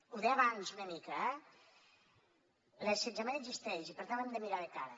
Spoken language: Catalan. ho deia abans una mica eh l’assetjament existeix i per tant l’hem de mirar de cara